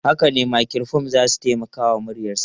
Haka ne, makirufo za su taimaka wa muryarsa.